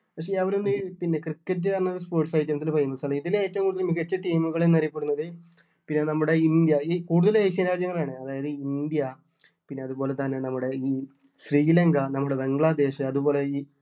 പിന്നെ അവരൊന്നും ഈ cricket എന്ന് പറയുന്നൊരു sports items ല് famous അല്ല ഇതില് ഏറ്റവും കൂടുതല് മികച്ച team കൾ എന്ന് അറിയപ്പെടുന്നത് പിന്നെ നമ്മുടെ ഇന്ത്യ കൂടുതലും Asian രാജ്യങ്ങളാണ് അതായത് ഇന്ത്യ പിന്നെ അതുപോലെ തന്നെ നമ്മുടെ ഈ ശ്രീലങ്ക നമ്മുടെ ബംഗ്ലാദേശ് അതുപോലെ ഈ